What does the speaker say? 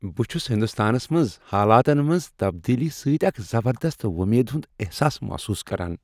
بہٕ چھس ہندوستانس منٛز حالاتن منٛز تبدیلی سۭتۍ اکھ زبردست وۄمید ہنٛد احساس محسوس کران۔